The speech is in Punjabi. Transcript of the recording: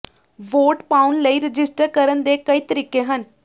ਵੋਟ ਪਾਉਣ ਲਈ ਰਜਿਸਟਰ ਕਰਨ ਦੇ ਕਈ ਤਰੀਕੇ ਹਨ